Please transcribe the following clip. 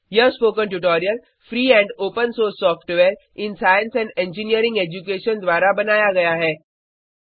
यह spoken tutorial free and open source software in science and engineering education द्वारा बनाया गया है